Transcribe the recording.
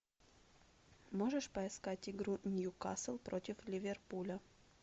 можешь поискать игру ньюкасл против ливерпуля